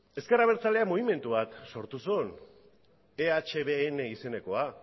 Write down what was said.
ezker abertzaleak mugimendu bat sortu zuen ehbn izenekoa